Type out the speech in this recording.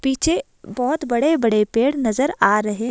पीछे बहुत बड़े-बड़े पेड़ नजर आ रहे हैं।